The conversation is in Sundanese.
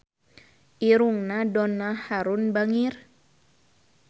Irungna Donna Harun bangir